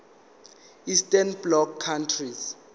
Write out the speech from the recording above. eastern bloc countries